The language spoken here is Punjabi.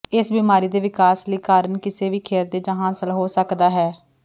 ਇਸ ਬਿਮਾਰੀ ਦੇ ਵਿਕਾਸ ਲਈ ਕਾਰਨ ਕਿਸੇ ਵੀ ਖਿਰਦੇ ਜ ਹਾਸਲ ਹੋ ਸਕਦਾ ਹੈ